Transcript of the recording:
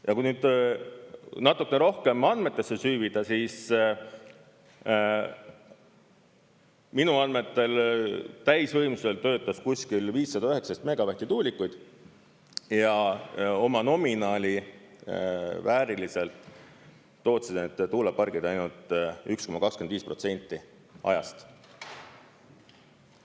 Ja kui nüüd natukene rohkem andmetesse süüvida, siis minu andmetel täisvõimsusel töötas kuskil 519 megavatti tuulikuid ja oma nominaali vääriliselt töötasid Tootsi tuulepargid ainult 1,25% ajast.